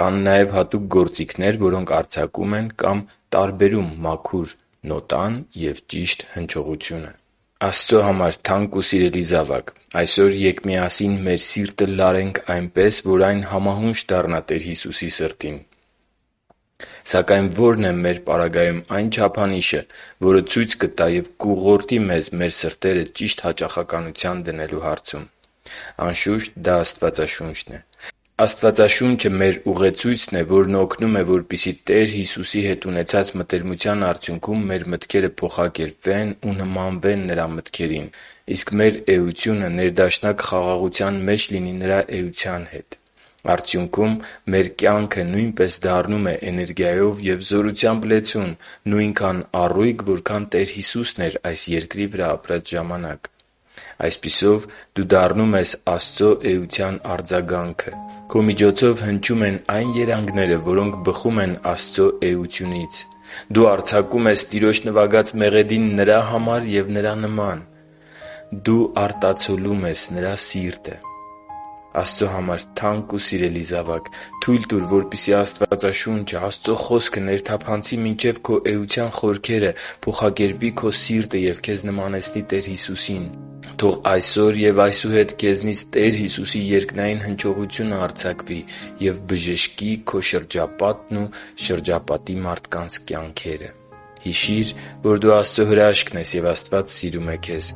Կան նաև հատուկ գործիքներ, որոնք արձակում են կամ տարբերում մաքուր նոտան և ճշգրիտ հնչողությունը: Աստծո համար թանկ ու սիրելի՛ զավակ, այսօր ե՛կ միասին մեր սիրտը լարենք այնպես, որ այն համահունչ դառնա Տեր Հիսուսի սրտին։ Սակայն ո՞րն է մե՛ր պարագայում այն չափանիշը, որը ցույց կտա և կուղղորդի մեզ մեր սրտերը ճիշտ հաճախականության դնելու հարցում։ Անշուշտ, դա Աստվածաշունչն է։ Աստվածաշունչը մեր ուղեցույցն է, որն օգնում է, որպեսզի Տեր Հիսուսի հետ ունեցած մտերմության արդյունքում մեր մտքերը փոխակերպվեն ու նմանվեն Տեր Հիսուսի մտքերին, իսկ մեր էությունը ներդաշնակ խաղաղության մեջ լինի Նրա էության հետ։ Արդյունքում, մեր կյանքը նույնպես դառնում է էներգիայով ու զորությամբ լեցուն, նույնքան առույգ, որքան Տեր Հիսուսն էր այս երկրի վրա ապրած ժամանակ։ Այսպիսով, դու դառնում ես Աստծո էության արձագանքը։ Քո միջոցով հնչում են այն երանգները, որոնք բխում են Աստծո էությունից։ Դու արձակում ես Տիրոջ նվագած մեղեդին Նրա համար է և Նրա նման։ Դու արտացոլում ես Նրա սիրտը։ Աստծո համար թանկ ու սիրելի՛ զավակ, թույլ տուր, որպեսզի Աստվածաշունչը՝ Աստծո Խոսքը, ներթափանցի մինչև քո էության խորքերը, փոխակերպի քո սիրտը և Քեզ նմանեցնի Տեր Հիսուսին։ Թող այսօր և այսուհետ քեզնից Տեր Հիսուսի երկնային հնչողությունը արձակվի և բժշկի քո շրջապատն ու շրջապատի մարդկանց կյանքերը։ Հիշի՛ր, որ դու Աստծո հրաշքն ես, և Աստված սիրում է քեզ։